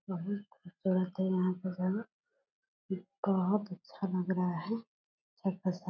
बहुत खूबसूरत है यहाँ पे जाना ई बहुत अच्छा लग रहा है सब के सब।